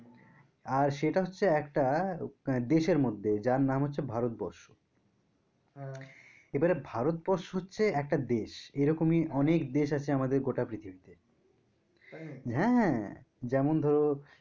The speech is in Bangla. আর সেটা হচ্ছে একটা দেশের মধ্যে যার নাম হচ্ছে ভারতবর্ষ এবারে ভারতবর্ষ হচ্ছে একটা দেশ এরকমই অনেক দেশ আসে আমাদের গোটা পৃথিবীতে হ্যাঁ যেমন ধরো